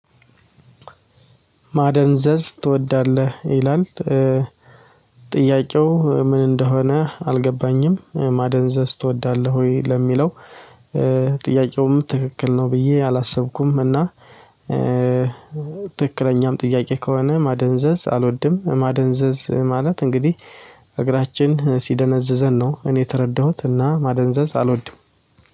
ማደንዘዝ ትወዳለህ ይላል። ጥያቄው ምን እንደሆነ አልገባኝም ማደንዘዝ ትወዳለህ ወይ ለሚለው? ጥያቄውም ትክክል ነው ብዬ አላሰብኩም እና። ትክክለኛም ጥያቄ ከሆነ ማደንዘዝ አልወድም ማደንዘዝ ማለት እንግዲህ እግራችን ሲደነዝዘን ነው። እኔ የተረዳሁት እና ማደንዘዝ አልወድም